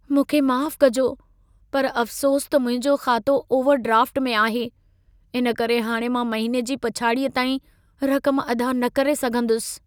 मूंखे माफ़ु कजो, पर अफ्सोस त मुंहिंजो ख़ातो ओवरड्राफ़्ट में आहे। इन करे हाणि मां महीने जी पछाड़ीअ ताईं रक़म अदा न करे सघंदुसि।